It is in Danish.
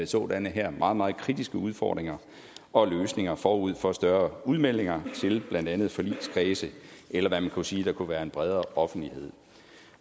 sådanne her meget meget kritiske udfordringer og løsninger forud for større udmeldinger til blandt andet forligskredse eller hvad man kunne sige der kunne være en bredere offentlighed